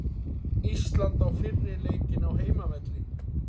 Ísland á fyrri leikinn á heimavelli